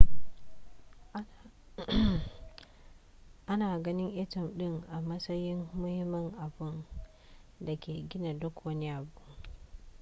ana ganin atom ɗin a matsayin muhimmin abun da ke gina duk wani abu